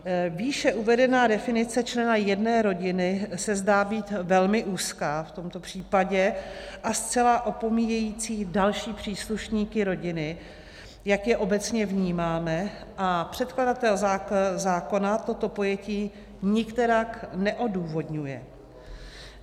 Výše uvedená definice člena jedné rodiny se zdá být velmi úzká v tomto případě a zcela opomíjející další příslušníky rodiny, jak je obecně vnímáme, a předkladatel zákona toto pojetí nikterak neodůvodňuje.